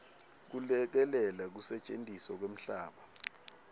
kulekelela kusetjentiswa kwemhlaba